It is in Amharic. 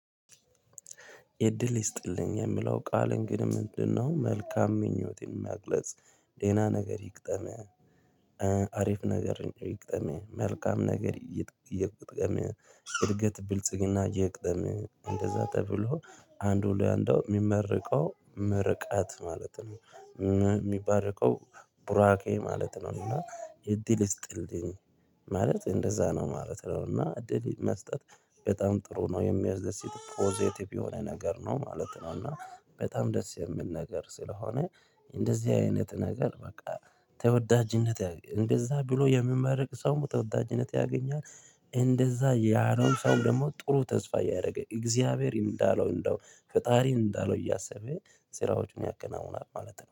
እድል ይስጥልኝ የምለው ቃል እንግዲ ምንድነው? መልካም ምኞቴ መግለጽ ደና ነገር ይግጠምህ አሪፍ ነገር ይግጠምህ መልካም ነገር ይግጠምህ እድገት ብልጽግና ይግጠምህ እንደዛ ተብሎ አንዱ ለአንዱ የሚመርቀው ምርቃት ማለት ነው። ሚባርከው ቡራኬ ማለት ነው። እና እድል ይስጥልኝ ማለት እንደዛ ነው ማለት ነው። እና እድል መስጠት በጣም ጥሩ ነው የሚያስደስት ፖዘቲቭ የሆነ ነገር ነው ማለት ነው። እና በጣም ደስ የሚል ነገር ስለሆነ እንደዚህ አይነት ነገር በቃ ተወዳጅነት እንደዛ ብሎ የምመረቅ ሰው ተወዳጅነት ያገኛል። እንደዛ ያለውን ሰው ደግሞ ጥሩ ተስፋ እያደረገ እግዚአብሔርን እንዳለው እንደው ፈጣሪን እንዳለው እያሰበ ስራዎችን ያከናውናል ማለት ነው